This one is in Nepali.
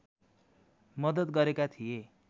मद्दत गरेका थिए